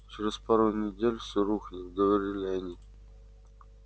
через пару недель все рухнет говорили они